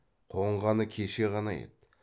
қонғаны кеше ғана еді